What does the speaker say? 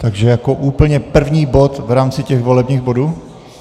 Takže jako úplně první bod v rámci těch volebních bodů?